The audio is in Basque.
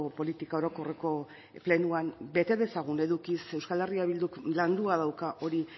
politika orokorreko plenoan bete dezagun edukiz eh bilduk landua dauka hori